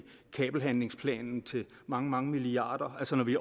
kabelhandlingsplanen til mange mange milliarder altså når vi